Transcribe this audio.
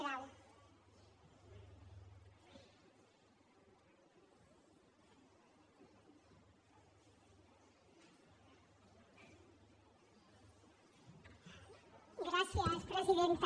gràcies presidenta